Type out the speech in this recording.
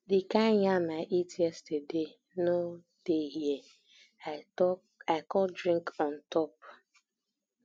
the kind yam i eat yesterday no no dey here i come drink on top